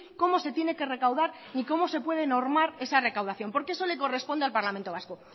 cómo se tiene que recaudar ni cómo se puede normar esa recaudación porque eso le corresponde al parlamento vasco